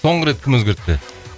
соңғы рет кім өзгертті